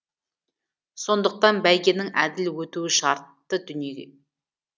сондықтан бәйгенің әділ өтуі шартты дүние